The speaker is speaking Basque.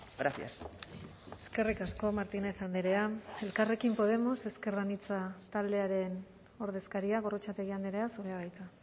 gracias eskerrik asko martínez andrea elkarrekin podemos ezker anitza taldearen ordezkaria gorrotxategi andrea zurea da hitza